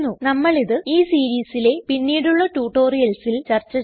നമ്മൾ ഇത് ഈ സീരീസിലെ പിന്നീടുള്ള ട്യൂട്ടോറിയൽസിൽ ചർച്ച ചെയ്യും